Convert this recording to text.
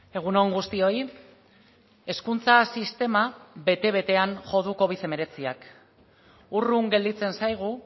egun on guztioi hezkuntza sistema bete betean jo du covid hemeretziak urrun gelditzen zaigu